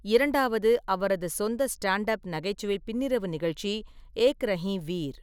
இரண்டாவது அவரது சொந்த ஸ்டாண்ட்-அப் நகைச்சுவை பின்னிரவு நிகழ்ச்சி ஏக் ரஹி வீர்.